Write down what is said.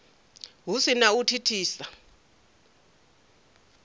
hu si na u thithisa